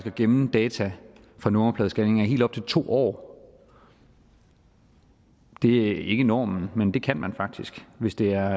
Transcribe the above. at gemme data fra nummerpladescanninger i helt op til to år det er ikke normen men det kan man faktisk hvis det er